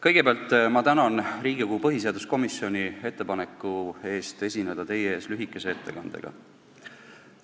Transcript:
Kõigepealt ma tänan Riigikogu põhiseaduskomisjoni ettepaneku eest esineda teie ees lühikese ettekandega.